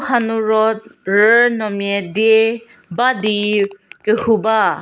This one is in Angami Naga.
ha nu ro rüünomia dia ba di kehu ba.